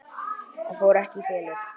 Það fór ekki í felur.